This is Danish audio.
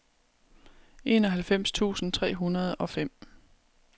enoghalvfems tusind tre hundrede og fem